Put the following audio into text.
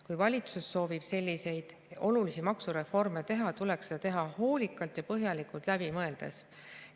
Kui valitsus soovib selliseid olulisi maksureforme teha, tuleks seda teha hoolikalt ja põhjalikult läbi mõeldes.